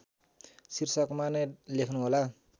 शीर्षकमा नै लेख्नुहोला